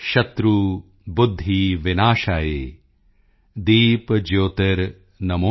ਸ਼ਤ੍ਰੁਬੁੱਧਿਵਿਨਾਸ਼ਾਯ ਦੀਪਜਯੋਤਿਰਨਮੋਸਤੁਤੇ